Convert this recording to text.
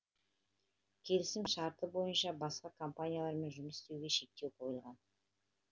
кесілім шарты бойынша басқа компаниялармен жұмыс істеуге шектеу қойылған